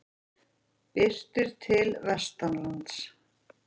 Birtir til vestanlands